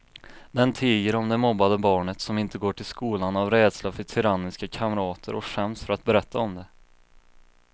Den tiger om det mobbade barnet som inte går till skolan av rädsla för tyranniska kamrater och skäms för att berätta om det.